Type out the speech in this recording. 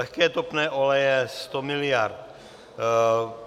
Lehké topné oleje - 100 miliard.